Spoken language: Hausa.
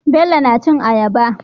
Bello na cin ayaba